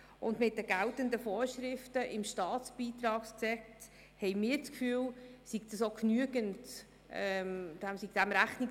Uns scheint, diesem sei mit den geltenden Vorschriften im StBG genügend Rechnung getragen.